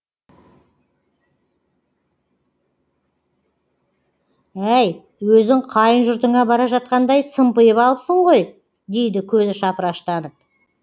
әй өзің қайын жұртыңа бара жатқандай сымпиып алыпсың ғой дейді көзі шапыраштанып